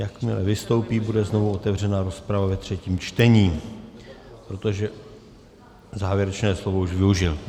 Jakmile vystoupí, bude znovu otevřena rozprava ve třetím čtení, protože závěrečné slovo už využil.